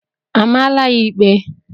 A maala ya ikpe?